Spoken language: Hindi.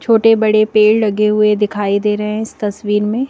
छोटे बड़े पेड़ लगे हुए दिखाई दे रहे हैं इस तस्वीर में।